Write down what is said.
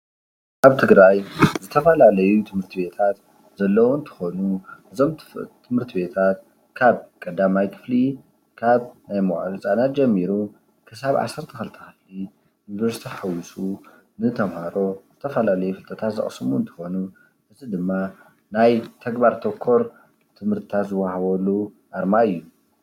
ኣብ ትግራይ ዝተፈላለዩ ትምህርቲ ቤታት ዘለዉ እንትኾኑ እዞም ትምህርቲ ቤታት ካብ ቀዳማይ ክፍሊ፣ ካብ ናይ መዉዓሊ ህፃናት ጀሚሩ ክሳብ ዓሰርተ ክልተ ክፍሊ ዩኒቨርሲቲ ሓዊሱ ንተምሃሮ ዝተፈላለዩ ብርክታት ዝቅስሙሉ እንትኾኑ እዚ ድማ ናይ ተግባር ተኮር ትምህርታት ዝዉሃበሉ ኣርማ እዩ።